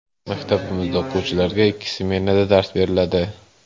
Maktabimizda o‘quvchilarga ikki smenada dars beriladi.